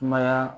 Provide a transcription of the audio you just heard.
Kumaya